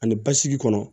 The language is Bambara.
Ani basigi kɔnɔ